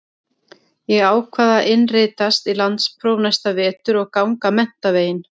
Ég ákvað að innritast í landspróf næsta vetur og ganga menntaveginn.